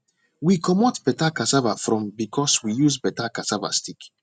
we comot better cassava from because we use better cassava stick